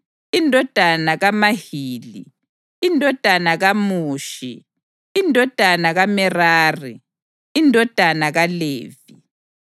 indodana kaMahili, indodana kaMushi, indodana kaMerari, indodana kaLevi.